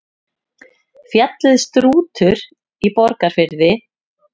Fjallið Strútur í Borgarfirði.